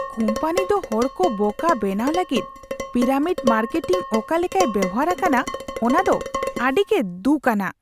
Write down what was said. Company ᱫᱚ ᱦᱚᱲᱠᱚ ᱵᱚᱠᱟ ᱵᱮᱱᱟᱣ ᱞᱟᱹᱜᱤᱫ ᱯᱤᱨᱟᱢᱤᱰ ᱢᱟᱨᱠᱮᱴᱤᱝ ᱚᱠᱟ ᱞᱮᱠᱟᱭ ᱵᱮᱣᱦᱟᱨ ᱟᱠᱟᱫᱟ ᱚᱱᱟ ᱫᱚ ᱟᱹᱰᱤ ᱜᱮ ᱫᱷᱩᱠᱷ ᱟᱱᱟᱜ ᱾